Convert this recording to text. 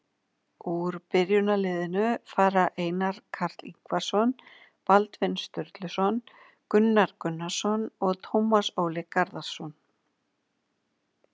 Úr byrjunarliðinu fara Einar Karl Ingvarsson, Baldvin Sturluson, Gunnar Gunnarsson og Tómas Óli Garðarsson.